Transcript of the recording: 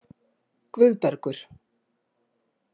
Guðbergur